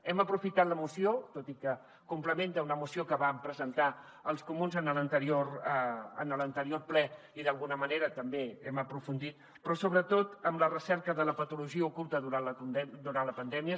hem aprofitat la moció tot i que complementa una moció que van presentar els comuns en l’anterior ple i d’alguna manera també hi hem aprofundit però sobretot en la recerca de la patologia oculta durant la pandèmia